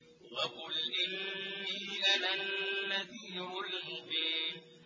وَقُلْ إِنِّي أَنَا النَّذِيرُ الْمُبِينُ